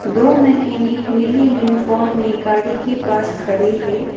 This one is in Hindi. दो मैकेनिक नीली यूनिफॉर्म में गाड़ी के पास खड़े है।